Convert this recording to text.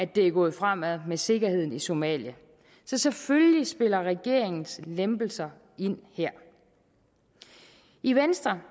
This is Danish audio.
det er gået fremad med sikkerheden i somalia så selvfølgelig spiller regeringens lempelser ind her i venstre